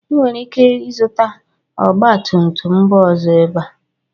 Ị nwere ike ịzụta ọgba tum tum mba ọzọ ebe a